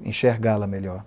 enxergá-la melhor.